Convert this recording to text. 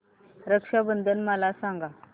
रक्षा बंधन मला सांगा